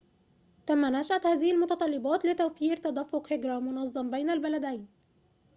تم نشأة هذه المتطلبات لتوفير تدفق هجرةٍ مُنظمٍ بين البلدين